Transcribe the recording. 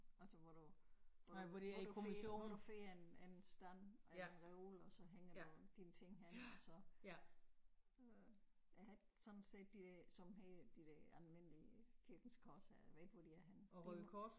Altså hvor du hvor du hvor du får hvor du får en stand og en reol og så hænger du dine ting hen og så øh jeg har ikke sådan set de der sådan helt de der almindelige kirkens korshær jeg ved ikke hvor de er henne de må